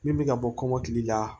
Min bɛ ka bɔ kɔmɔkili la